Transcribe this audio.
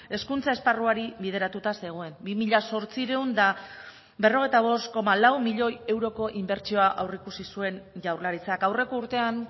hezkuntza esparruari bideratuta zegoen bi mila zortziehun eta berrogeita bost koma lau milioi euroko inbertsioa aurreikusi zuen jaurlaritzak aurreko urtean